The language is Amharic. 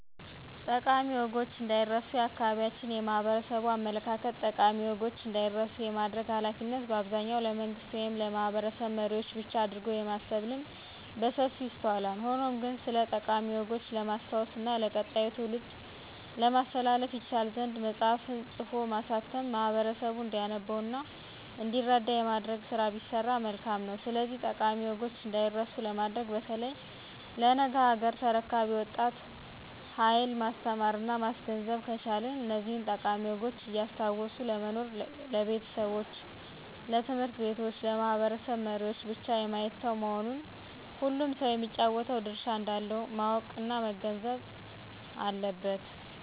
ጠቃሚ ወጎች እንዳይረስ የአካባቢያችን የማህበረሰቡ አመለካከት ጠቃሚ ወጎች እንዳይረሱ የማድረግ ሀላፊነት በአብዛኛው ለመንግስት ወይም ለማህበረሰብ መሪዎች ብቻ አድርጎ የማሰብ ልምድ በሰፊው ይስተዋላል። ሆኖም ግን ስለጠቃሚ ወጎች ለማስታወስ እና ለቀጣዩ ትውልድ ለማስተላለፍ ይቻል ዘንድ መፅሐፍን ፅፎ ማሳተም ማህበረሰቡ እንዲያነበው እና እንዲረዳ የማድረግ ስራ ቢሰራ መልካም ነው። ስለዚህ ጠቃሚ ወጎች እዳይረሱ ለማድረግ በተለይ ለነገ ሀገር ተረካቢው ወጣት ሀየል ማስተማረና ማስገንዘብ ከቻልን እነዚህን ጠቃሚ ወጎች እያስታወሱ ለመኖር ለቤተሰቦች፣ ለት/ቤቶች፣ ለማህበረሰብ መሪወች ብቻ የማይተው መሆኑን ሁሉም ሰው የሚጫወተው ድርሻ እንዳለው ማወቅና መገንዘብ አለበት።